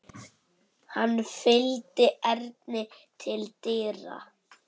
Hann fylgdi Erni til dyra.